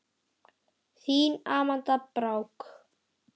Þín Amanda Brák.